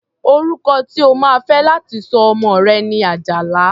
Orúkọ tí o máa fé láti sọ ọmọ rẹ̀ ni Àjàlá.